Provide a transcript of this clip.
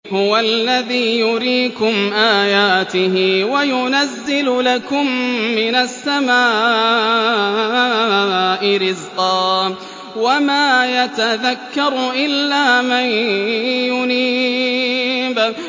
هُوَ الَّذِي يُرِيكُمْ آيَاتِهِ وَيُنَزِّلُ لَكُم مِّنَ السَّمَاءِ رِزْقًا ۚ وَمَا يَتَذَكَّرُ إِلَّا مَن يُنِيبُ